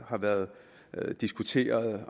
har været diskuteret